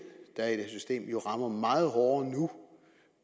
der er i det system jo rammer meget hårdere nu